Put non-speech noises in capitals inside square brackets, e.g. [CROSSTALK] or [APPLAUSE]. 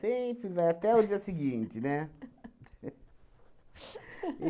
[LAUGHS] vai até o dia seguinte, né? [LAUGHS]